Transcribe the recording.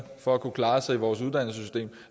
for at kunne klare sig i vores uddannelsesystem